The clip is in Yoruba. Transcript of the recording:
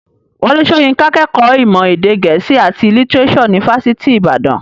Wọlé Soyinka kẹ́kọ̀ọ́ ìmọ̀ èdè gẹ̀ẹ́sì àti lítírésò ní fásitì ìbàdàn.